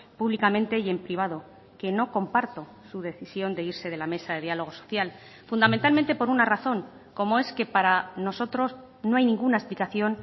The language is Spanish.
públicamente y en privado que no comparto su decisión de irse de la mesa de diálogo social fundamentalmente por una razón como es que para nosotros no hay ninguna explicación